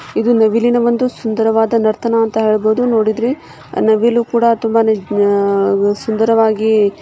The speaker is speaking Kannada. ಇದು ಬಂದು ನವಿಲಿನ ಸುಂದರವಾದ ನರ್ತನ ಅಂತ ಹೇಳಬಹುದು ನೋಡಿದ್ರೆ ನವಿಲು ಕೂಡ ತುಂಬಾನೇ ಸುಂದರವಾಗಿ .